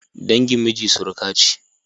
dangin miji suruka ce